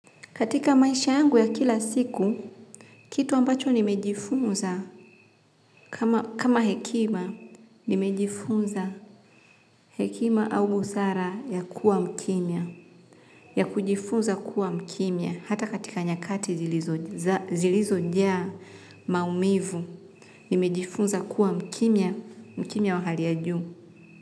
Katika maisha yangu ya kila siku, kitu ambacho nimejifunza kama hekima, nimejifunza hekima au busara ya kuwa mkimya. Ya kujifunza kuwa mkimya, hata katika nyakati zilizojaa maumivu, nimejifunza kuwa mkimya, mkimya wa hali ya juu.